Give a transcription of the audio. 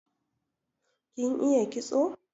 Kin iya kitso?